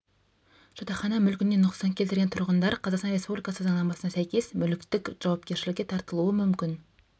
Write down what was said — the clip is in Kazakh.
жатақхана мүлкіне нұқсан келтірген тұрғындар қазақстан республикасы заңнамасына сәйкес мүліктік жауапкершілікке тартылуы мүмкін